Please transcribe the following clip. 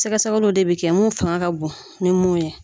Sɛgɛ sɛgɛliw de bɛ kɛ mun fanga ka bon ni mun ye.